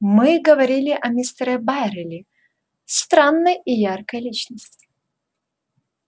мы говорили о мистере байерли странной и яркой личности